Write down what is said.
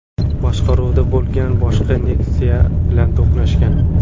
boshqaruvida bo‘lgan boshqa Nexia bilan to‘qnashgan.